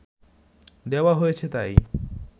দেওয়া হয়েছে তাই